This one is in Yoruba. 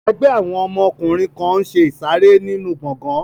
Ẹgbẹ́ àwọn ọkùnrin kan n ṣe ìsàrẹ́ nínu gbọgán